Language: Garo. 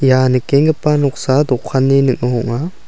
ia nikenggipa noksa dokanni ning·o ong·a.